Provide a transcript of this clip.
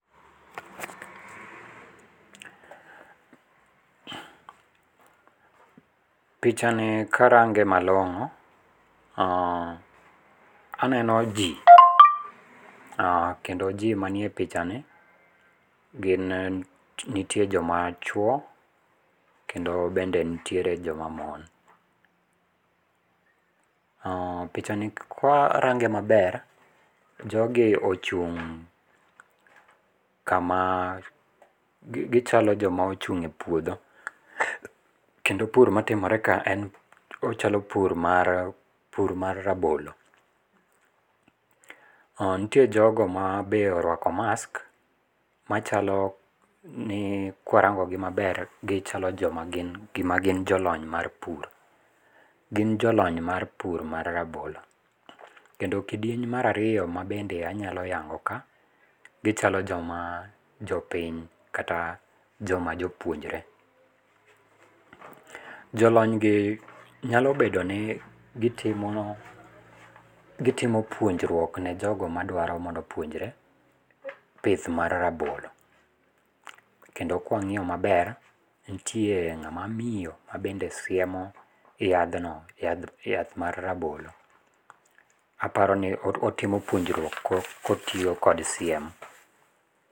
Pichani karange malongo, aneno jii, kendo jii manie pichani gin nitie joma chuo kendo bende nitiere joma mon. Pichani kwarange maber jogi ochung' kama, gichalo joma ochung' e puodho kendo pur matimore ka en ,ochalo pur mar, pur ma rabolo. Nitie jogo mabe orwako mask machalo ni kwarango gi maber gichalo joma gin, gima gin jolony mag pur. Gin jolony mar pur mar rabolo kendo kidieny mar ariyo mabende anya yango ka gichalo joma jopiny kata joma jopuonjre. Jolony gi nyalo bedo ni gitimo, gitimo puonjruok nejogo madwaro mondo opuonjre pith mar rabolo kendo kwangiyo maber nitie ng'ama miyo mabende siemo yadhno, yadh ,yath mar rabolo. Aparoni otimo puonjruok kotiyo kod siem